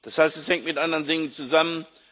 Das heißt, es hängt mit anderen Dingen zusammen.